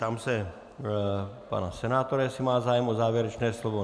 Ptám se pana senátora, jestli má zájem o závěrečné slovo.